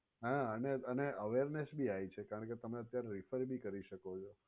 હા અને અને હવે SBI છે કારણકે તમે અત્યારે refer ભી કરી શકો છો.